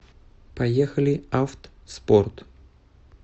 поехали авт спорт